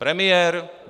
Premiér?